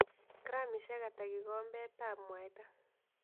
Gramisiek ata kigombetap mwaita